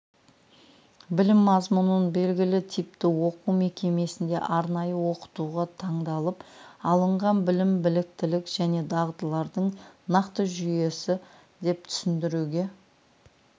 білім мазмұнын белгілі типті оқу мекемесінде арнайы оқытуға таңдалып алынған білім біліктілік және дағдылардың нақты жүйесі деп түсіндіруге